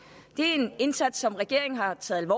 det er en indsats som regeringen har taget